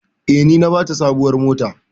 Eh, ni na bata sabuwar mota.